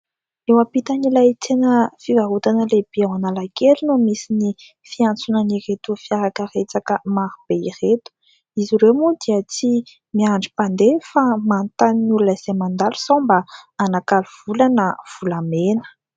Eo ampitan'ilay tsena fivarotana lehibe eo Analakely no misy ny fiantsonan'ireto fiarakaretsaka maro be ireto. Izy ireo moa dia tsy miandry mpandeha fa manontany ny oona izay mandalo sao mba hanakalo vola na volamena.